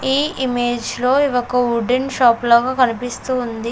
ఈ ఇమేజ్ లో ఇవి ఒక వుడెన్ షాప్ లాగ కనిపిస్తూ ఉంది.